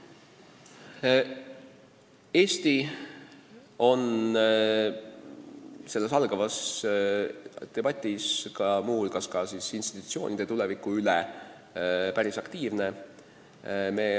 Eesti on selles algavas debatis, kus muu hulgas arutatakse ka institutsioonide tulevikku, päris aktiivne.